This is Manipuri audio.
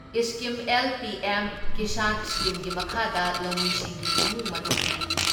Scheme L PM. ꯀꯤꯁꯥꯟ ꯏꯁꯀꯤꯝꯒꯤ ꯃꯈꯥꯗ ꯂꯧꯃꯤꯁꯤꯡꯒꯤ ꯏꯃꯨꯡ ꯃꯅꯨꯡꯒꯤ